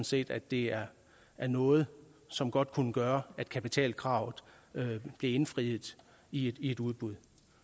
set at det er noget som godt kunne gøre at kapitalkravet blev indfriet i et udbud